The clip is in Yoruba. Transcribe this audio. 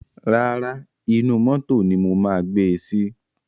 Rárá, inú mótò ni mo máa gbe sí.